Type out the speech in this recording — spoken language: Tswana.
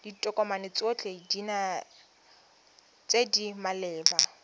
ditokomane tsotlhe tse di maleba